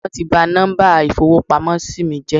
Wón ti ba nọ́mbà ìfowópamósí mí jẹ́